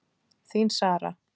Þín, Sara.